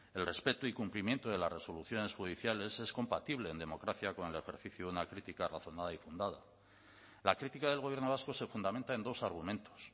el respeto y cumplimiento de las resoluciones judiciales es compatible en democracia con el ejercicio de una crítica razonada y fundada la crítica del gobierno vasco se fundamenta en dos argumentos